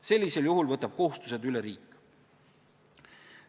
Sellisel juhul võtab kohustused üle riik.